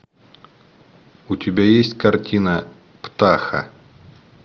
у тебя есть картина птаха